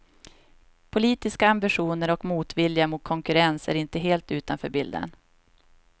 Politiska ambitioner och motvilja mot konkurrens är inte helt utanför bilden.